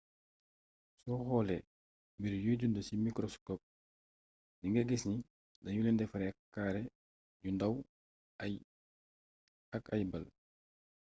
soo xoolee mbir yuy dund ci mikroskop di nga gis ni danu leen defaree kaare yu ndaw ak ay ball